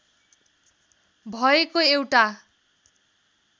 भएको एउटा